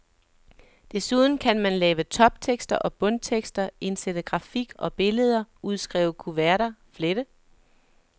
Desuden kan man lave toptekster og bundtekster, indsætte grafik og billeder, udskrive kuverter, flette.